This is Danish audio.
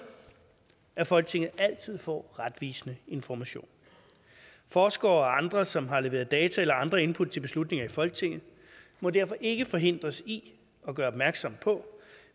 at folketinget altid får retvisende information forskere og andre som har leveret data eller andre input til beslutninger i folketinget må derfor ikke forhindres i at gøre opmærksom på